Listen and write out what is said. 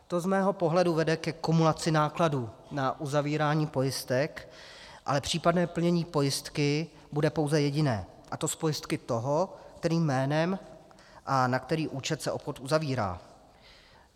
To z mého pohledu vede ke kumulaci nákladů na uzavírání pojistek, ale případné plnění pojistky bude pouze jediné, a to z pojistky toho, kterým jménem a na který účet se obchod uzavírá.